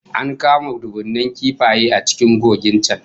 An kamo dubunnan kifaye a cikin kogin can